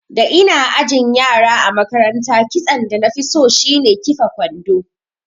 Da ina ajin yara a makaranta kitson danafi so shine kifa kwando